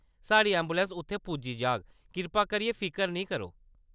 साढ़ी ऐंबुलैंस उत्थै पुज्जी जाग, कृपा करियै फिकर नेईं करो।